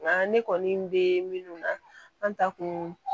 Nka ne kɔni bɛ minnu na an ta kun